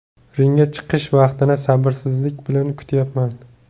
Ringga chiqish vaqtini sabrsizlik bilan kutyapman.